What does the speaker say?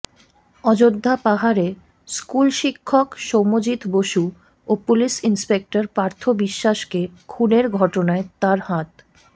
অযোধ্যা পাহাড়ে স্কুলশিক্ষক সৌম্যজিত বসু ও পুলিশ ইনস্পেক্টর পার্থ বিশ্বাসকে খুনের ঘটনায় তাঁর হাত